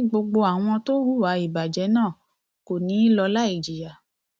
ìbínú ọlọrun fún nàìjíríàẹlẹbùíbọn